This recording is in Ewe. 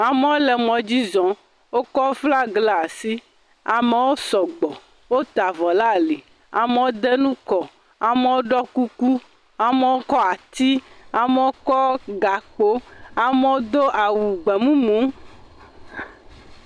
Amewo le mɔ dzi zɔm, wokɔ flag le asi, amewo sɔgbɔ, wota avɔ ɖe ali, amewo de nu kɔ, amewo ɖɔ kuku, amewo kɔ ati amewo kɔ gakpo, amewo do awu gbe mumu.